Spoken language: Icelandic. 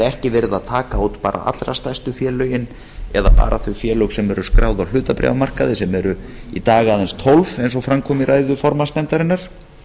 ekki verið að taka út bara allra stærstu félögin eða bara þau félög sem eru skráð á hlutabréfamarkaði sem eru í dag aðeins tólf eins og fram kom í ræðu formanns nefndarinnar